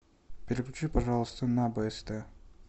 переключи пожалуйста на бст